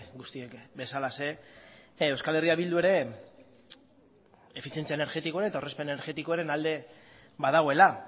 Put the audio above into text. guztiek bezalaxe euskal herria bildu ere efizientzia energetikoaren eta aurrezpen energetikoaren alde badagoela